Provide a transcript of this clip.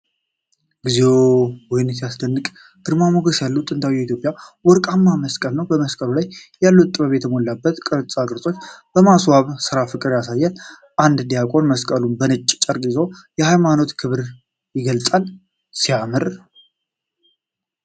እግዚኦ! ወይኔ ሲያስደንቅ! ግርማ ሞገስ ያለው ጥንታዊ የኢትዮጵያ ወርቃማ መስቀል ነው። በመስቀሉ ላይ ያሉት ጥበብ የተሞላባቸው ቅርጻ ቅርጾች እና የማስዋብ ሥራ ፍቅርን ያሳያሉ። አንድ ዲያቆን መስቀሉን በነጭ ጨርቅ ይዞ፣ ሃይማኖታዊ ክብርን ይገልጻል። ሲያምር!